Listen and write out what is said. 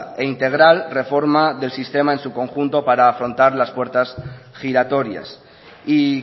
e integral reforma del sistema en su conjunto para afrontar las puertas giratorias y